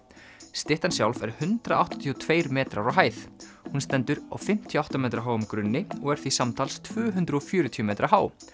styttan sjálf er hundrað áttatíu og tveir metrar á hæð hún stendur á fimmtíu og átta metra háum grunni og er því samtals tvö hundruð og fjörutíu metra há